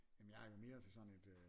Jamen jeg er jo mere til sådan et øh